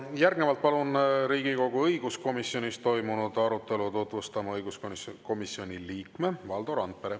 Järgnevalt palun Riigikogu õiguskomisjonis toimunud arutelu tutvustama õiguskomisjoni liikme Valdo Randpere.